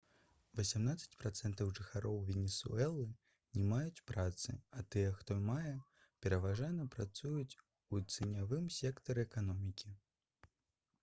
васямнаццаць працэнтаў жыхароў венесуэлы не маюць працы а тыя хто мае пераважна працуюць у ценявым сектары эканомікі